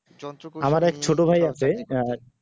আমার এক ছোট ভাই আছে আহ